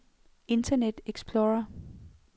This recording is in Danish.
internet explorer